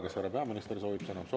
Kas härra peaminister soovib sõna?